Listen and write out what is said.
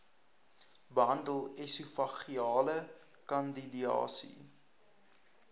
behandel esofageale kandidiase